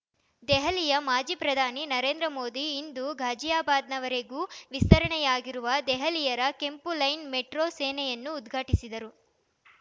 ನವದೆಹಲಿ ಮಾಜಿ ಪ್ರಧಾನಿ ನರೇಂದ್ರ ಮೋದಿ ಇಂದು ಘಾಜಿಯಾಬಾದ್‌ವರೆವಿಗೂ ವಿಸ್ತರಣೆಯಾಗಿರುವ ದೆಹಲಿಯರ ಕೆಂಪು ಲೈನ್ ಮೆಟ್ರೋ ಸೇನೆಯನ್ನು ಉದ್ಘಾಟಿಸಿದರು